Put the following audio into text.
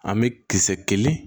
An bɛ kisɛ kelen